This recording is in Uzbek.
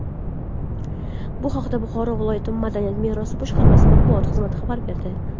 Bu haqda Buxoro viloyat madaniy meros boshqarmasi Matbuot xizmati xabar berdi.